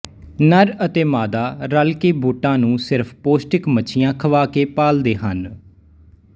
ਨਰ ਅਤੇ ਮਾਦਾ ਰਲ ਕੇ ਬੋਟਾਂ ਨੂੰ ਸਿਰਫ਼ ਪੌਸ਼ਟਿਕ ਮੱਛੀਆਂ ਖਵਾ ਕੇ ਪਾਲਦੇ ਹਨ